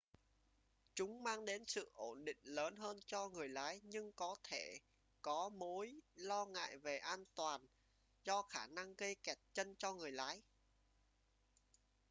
chúng mang đến sự ổn định lớn hơn cho người lái nhưng có thể có mối lo ngại về an toàn do khả năng gây kẹt chân cho người lái